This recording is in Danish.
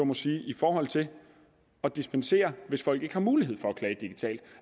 må sige i forhold til at dispensere hvis folk ikke har mulighed for